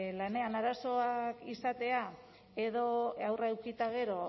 lanean arazoak izatea edo haurra eduki eta gero